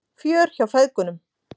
Fjör hjá feðgunum